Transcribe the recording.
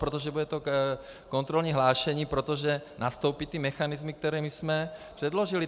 Protože bude to kontrolní hlášení, protože nastoupí ty mechanismy, které my jsme předložili.